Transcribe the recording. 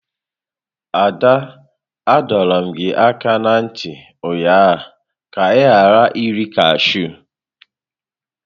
Ada, adọrum gi aka na nti ụnyahụ ka i ghara iri kashụ!